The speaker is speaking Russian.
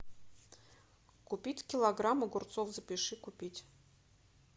купить килограмм огурцов запиши купить